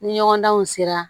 Ni ɲɔgɔndanw sera